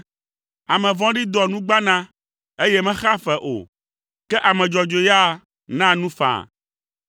Ame vɔ̃ɖi doa nugbana, eye mexea fea o, ke ame dzɔdzɔe ya naa nu faa.